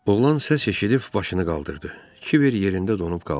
Oğlan səs eşidib başını qaldırdı, Kiber yerində donub qaldı.